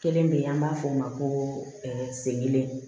Kelen bɛ yen an b'a fɔ o ma ko segene